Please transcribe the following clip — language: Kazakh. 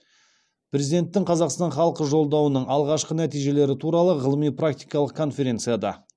президенттің қазақстан халқы жолдауының алғашқы нәтижелері туралы ғылыми практикалық конференцияда